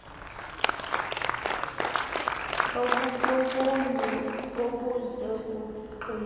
obubobunye obuza kungqing